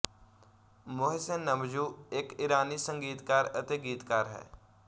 Mohsin Namjoo ਇੱਕ ਇਰਾਨੀ ਸੰਗੀਤਕਾਰ ਅਤੇ ਗੀਤਕਾਰ ਹੈ